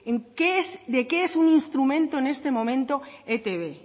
de qué es un instrumento en este momento etb